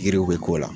Yiriw bɛ k'o la